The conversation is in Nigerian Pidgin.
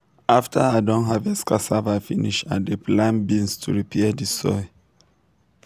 after i don harvest cassava finish i dey plant beans to repair the soil.